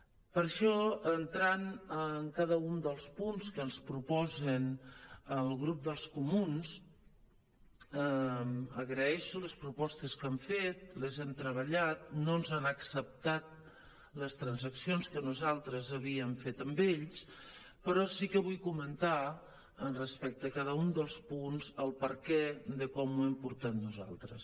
per això entrant en cada un dels punts que ens proposa el grup dels comuns agraeixo les propostes que han fet les hem treballat no ens han acceptat les trans·accions que nosaltres havíem fet amb ells però sí que vull comentar respecte a cada un dels punts el perquè de com ho hem portat nosaltres